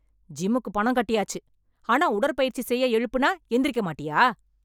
ஜிம்முக்கு பணம் கட்டியாச்சு, ஆனா உடற்பயிற்சி செய்ய எழுப்புனா எந்திரிக்க மாட்டியா?